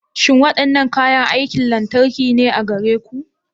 Shin waɗannan kayan aikin lantarki ne a gare ku?